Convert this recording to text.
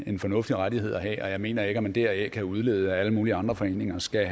en fornuftig rettighed at have og jeg mener ikke at man deraf kan udlede at alle mulige andre foreninger skal